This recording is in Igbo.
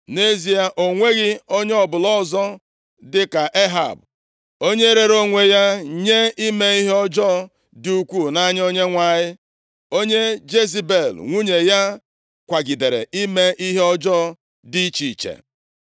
(Nʼezie, o nweghị onye ọbụla ọzọ dị ka Ehab, onye rere onwe ya nye ime ihe ọjọọ dị ukwuu nʼanya Onyenwe anyị, onye Jezebel nwunye ya kwagidere ime ihe ọjọọ dị iche iche.